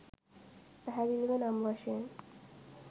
පැහැදිලිව නම් වශයෙන්